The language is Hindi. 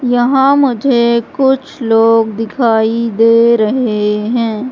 यहां मुझे कुछ लोग दिखाई दे रहे हैं।